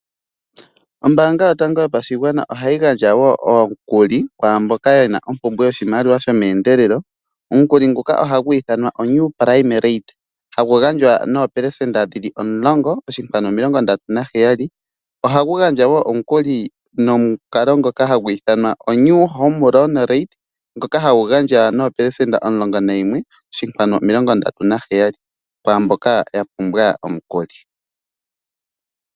Ombaanga yotango yopashigwana ohayi gandja woo omukuli kwaamboka yena ompumbwe yoshimaliwa sho meendelelo. Omukuli nguka ohagu i thanwa oNew prime rate, hagu gandjo noopelesenda omulongo oshikwanu omilongo ndatu naheyali. Ohagu gandja woo omukuli ngoka haga i thanwa oNew home loan tate ngoka hagu gandjwa noopelesenda omulongo nayimwe oshikwanu omilongo ndatu naheyali kwaa mboka yapumbwa omukuli.